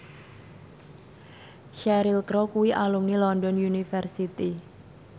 Cheryl Crow kuwi alumni London University